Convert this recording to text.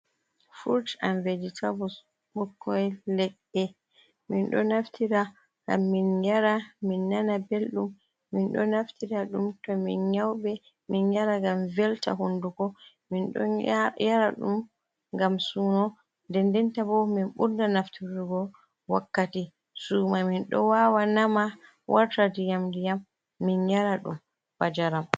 Furut an vejetebuls, ɓukkon leɗɗe, men ɗo naftira ngam men yaara men nana belɗum, men ɗo naftira ɗum to men nyauɓe men yaara ngam velta hunduko. Men ɗo yaara ɗum ngam suuno, nden ndenta bo men ɓurda nafturugo wakkati sumayee men ɗo waawa naama wartira ndiyam ndiyam men yaara ɗum ba njaram.